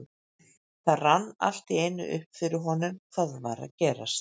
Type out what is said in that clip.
Það rann allt í einu upp fyrir honum hvað var að gerast.